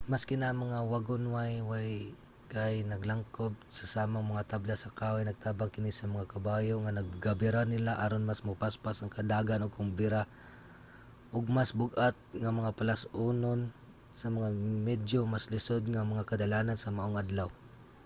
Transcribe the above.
maski na ang mga wagonway kay naglangkob sa samang mga tabla sa kahoy nagtabang kini sa mga kabayo nga nagabira nila aron mas mopaspas ang dagan ug makabira og mas bug-at nga mga palas-anon sa mga medyo mas lisud nga mga kadalanan sa maong adlaw